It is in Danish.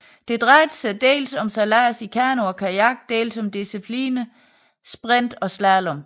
Det drejede sig dels om sejlads i Kano og Kajak dels om disciplinerne sprint og slalom